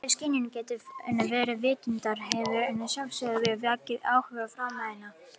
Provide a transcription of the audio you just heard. Það að skynjun geti verið án vitundar hefur að sjálfsögðu vakið áhuga fræðimanna.